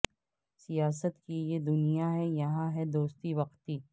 سیاست کی یہ دنیا ہے یہاں ہے دوستی وقتی